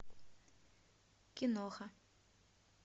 киноха